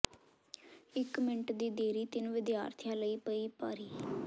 ਇੱਕ ਮਿੰਟ ਦੀ ਦੇਰੀ ਤਿੰਨ ਵਿਦਿਆਰਥੀਆਂ ਲਈ ਪਈ ਭਾਰੀ